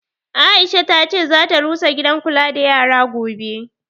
Aisha ta ce zata rusa gidan kula da yara gobe